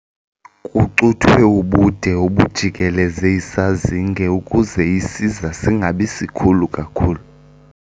Kucuthwe ubude obujikeleze isazinge ukuze isiza singabi sikhulu kakhulu.